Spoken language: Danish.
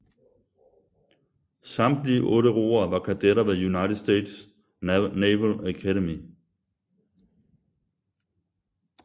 Samtlige otte roere var kadetter ved United States Naval Academy